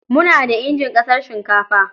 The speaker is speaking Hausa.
Muna da injin casar shinkafa.